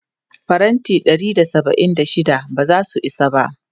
Faranti ɗari da saba'in da shida ba za su isa ba.